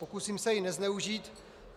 Pokusím se ji nezneužít.